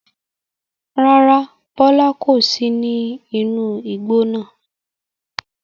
Rárá, Bọlá kò sì ní inú igbó náà.